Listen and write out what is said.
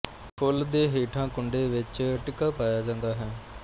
ਫੁੱਲ ਦੇ ਹੇਠਾਂ ਕੁੰਡੇ ਵਿੱਚ ਟਿੱਕਾ ਪਾਇਆ ਜਾਂਦਾ ਹੈ